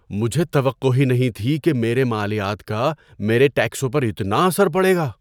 مجھے توقع ہی نہیں تھی کہ میرے مالیات کا میرے ٹیکسوں پر اتنا اثر پڑے گا۔